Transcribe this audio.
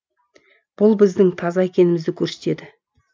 бұл біздің таза екенімізді көрсетеді